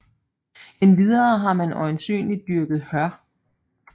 Endvidere har man øjensynligt dyrket hør